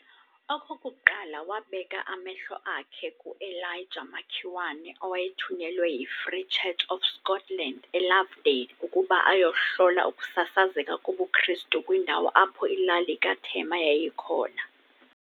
okokuqala wabeka amehlo akhe kuEliajah Makiwane owayethunyelwe yiFree Church of Scotland eLovedale ukuba ayohlola ukusasazeka kobuKristu kwindawo apho ilali kaThema yayikhona.